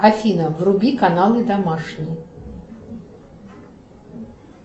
афина вруби каналы домашний